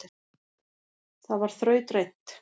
Það var þrautreynt